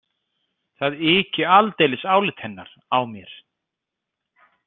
Það yki aldeilis álit hennar á mér.